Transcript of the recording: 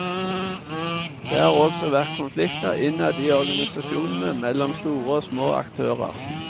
Det har også vært konflikter innad i organisasjonene mellom store og små aktører.